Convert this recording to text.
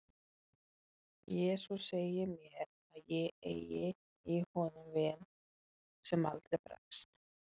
jesús segir mér að ég eigi í honum vin sem aldrei bregst